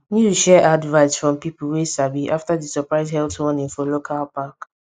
news share advise from pipo wey sabi after di surprise health warning for local park